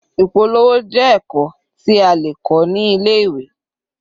Ìpolówó jẹ́ ẹ̀kọ́ tí a lè kọ́ ní ilé-ìwé.